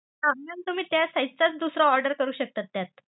हा mam तुम्ही त्या size चा दुसरा order करू शकतात त्यात.